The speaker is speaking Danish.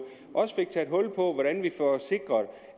også fik taget hul på hvordan vi får sikret